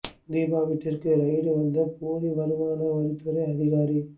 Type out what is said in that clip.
தீபா வீட்டிற்கு ரெய்டு நடத்த வந்த போலி வருமான வரித்துறை அதிகாஅரி